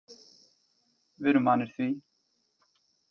Við erum vanir því